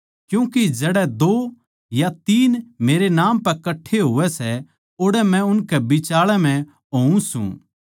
क्यूँके जड़ै दो या तीन मेरै नाम पै कठ्ठे होवै सै ओड़ै मै उनकै बिचाळै म्ह होऊँ सूं